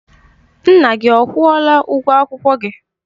Nna gị ọ kwụọla ụgwọ akwụkwọ gị?